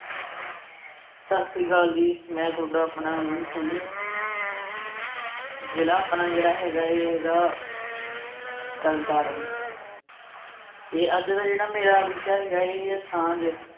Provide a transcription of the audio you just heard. ਸਤਿ ਸ੍ਰੀ ਅਕਾਲ ਜੀ, ਮੈਂ ਤੁਹਾਡਾ ਆਪਣਾ ਅਮਨ ਸ਼ੈਣੀ ਜਿਲ੍ਹਾ ਆਪਣਾ ਜਿਹੜਾ ਹੈਗਾ ਇਹ ਹੈਗਾ ਤਰਨਤਾਰਨ ਇਹ ਅੱਜ ਦਾ ਜਿਹੜਾ ਮੇਰਾ ਵਿਸ਼ਾ ਹੈਗਾ ਹੈ ਇਹ ਹੈ ਸਾਂਝ।